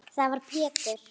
Þá var Pétur